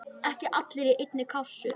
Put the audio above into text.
Ekki allir í einni kássu!